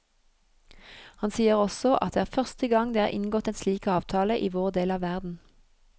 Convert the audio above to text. Han sier også at det er første gang det er inngått en slik avtale i vår del av verden.